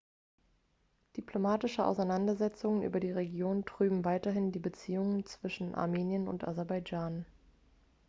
diplomatische auseinandersetzungen über die region trüben weiterhin die beziehungen zwischen armenien und aserbaidschan